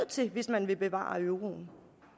til hvis man vil bevare euroen